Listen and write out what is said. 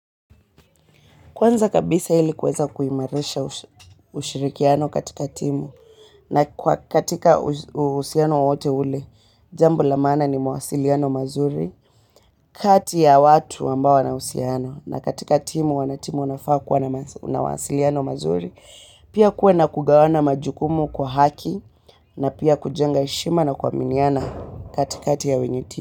Kwanza kabisa ili kuweza kuimarisha ushirikiano katika timu na katika uhusiano wowote ule, jambl la maana ni mawasiliano mazuri, kati ya watu ambao wanahusiana na katika timu wanatimu wanafaa kuwa na mawasiliano mazuri. Pia kuwe na kugawana majukumu kwa haki na pia kujenga heshima na kuaminiana katika ya wenye timu.